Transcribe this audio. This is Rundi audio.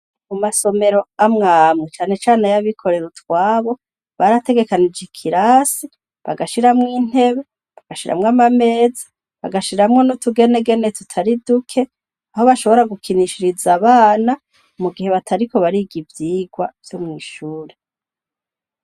Amasomero amwe amwe cane cane ay'abikorera utwabo, barategekanije ikirasi bagashiramwo intebe, bagashiramwo amameza, bagashiramwo n'utugenegene tutari duke, aho bashobora gukinishiriza abana mu gihe batariko bariga ivyigwa vyo mw'ishuri.